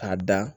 K'a da